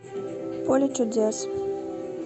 поле чудес